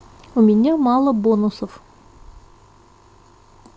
у меня мало бонусов